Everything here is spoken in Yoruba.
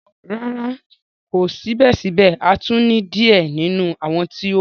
Rara, ko sibẹsibẹ a tun ni diẹ ninu awọn ti o kù.